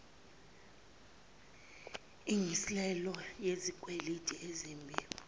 ilngiselelo lezikweleti ezimbi